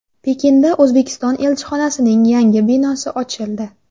Pekinda O‘zbekiston elchixonasining yangi binosi ochildi .